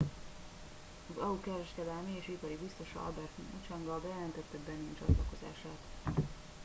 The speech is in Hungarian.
az au kereskedelmi és ipari biztosa albert muchanga bejelentette benin csatlakozását